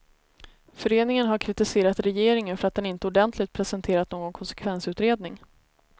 Föreningen har kritiserat regeringen för att den inte ordentligt presenterat någon konsekvensutredning.